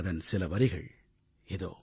அதன் சில வரிகள் இதோ